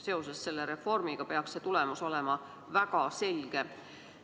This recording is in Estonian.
Seoses selle reformiga peaks see tulemus olema väga selge.